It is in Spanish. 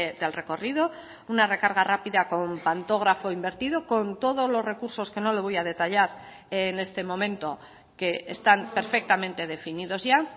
del recorrido una recarga rápida con pantógrafo invertido con todos los recursos que no le voy a detallar en este momento que están perfectamente definidos ya